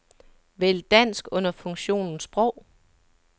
Vælg dansk under funktionen sprog.